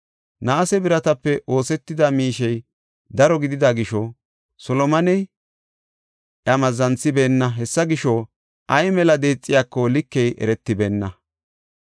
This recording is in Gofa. Naase biratape oosetida miishey daro gidida gisho, Solomoney iya mazzanisibeenna; hessa gisho, ay mela deexiyako likey eretibeenna.